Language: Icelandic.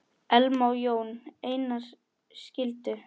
Elma og Jón Einar skildu.